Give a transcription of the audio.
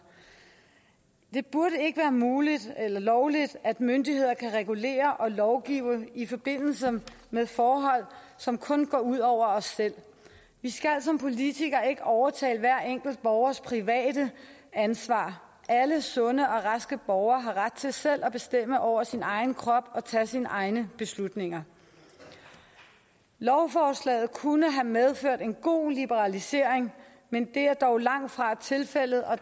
det burde ikke være muligt eller lovligt at myndigheder kan regulere og lovgive i forbindelse med forhold som kun går ud over os selv vi skal som politikere ikke overtage hver enkelt borgers private ansvar alle sunde og raske borgere har ret til selv at bestemme over sin egen krop og tage sine egne beslutninger lovforslaget kunne have medført en god liberalisering men det er dog langtfra tilfældet og